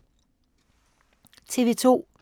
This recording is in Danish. TV 2